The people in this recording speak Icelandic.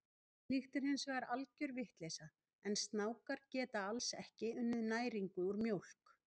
Slíkt er hins vegar algjör vitleysa, en snákar geta alls ekki unnið næringu úr mjólk.